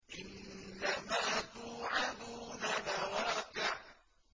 إِنَّمَا تُوعَدُونَ لَوَاقِعٌ